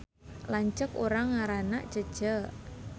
Lanceuk urang ngaranna Cece